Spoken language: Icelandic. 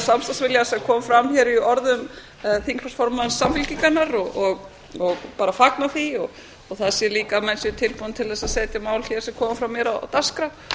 samstarfsvilja sem kom fram í orðum þingflokksformanns samfylkingarinnar ég fagna því sem og því að menn séu tilbúnir að setja mál sem koma frá mér á dagskrá